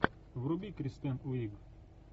вруби кристен уиг